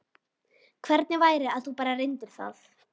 Hvernig væri að þú bara reyndir það?